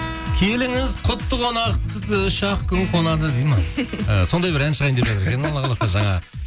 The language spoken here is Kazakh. келіңіз құтты қонақ і үш ақ күн қонады дейді ме і сондай бір ән шығайын деп жатыр екен алла қаласа жаңа